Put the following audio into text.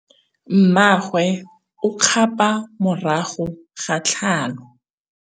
Mmagwe o kgapô morago ga tlhalô.